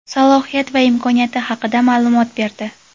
salohiyat va imkoniyati haqida ma’lumot berdi.